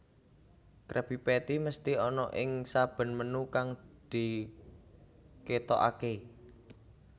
Krabby Patty mesthi ana ing saben menu kang diketokake